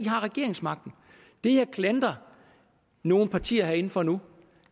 har regeringsmagten det jeg klandrer nogle partier herinde for nu